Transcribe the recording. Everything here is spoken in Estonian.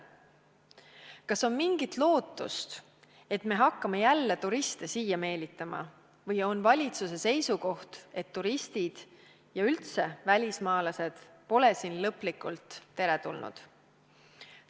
Kas on mingit lootust, et me hakkame jälle turiste siia meelitama, või on valitsuse seisukoht, et turistid ja üldse välismaalased pole siin lõplikult teretulnud?